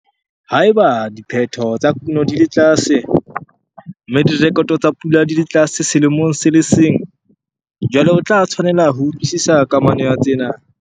Ha eba diphetho tsa kuno di le tlase, mme direkoto tsa pula di le tlase selemong se le seng, jwale o tla tshwanela ho utlwisisa kamano ya tsena.